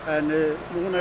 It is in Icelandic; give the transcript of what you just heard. búnir að